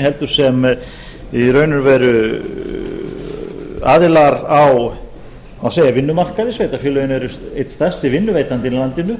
heldur í raun og veru sem aðilar á vinnumarkaði sveitarfélögin eru einn stærsti vinnuveitandinn í landinu